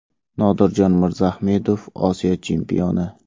Nodirjon Mirzaahmedov Osiyo chempioni!.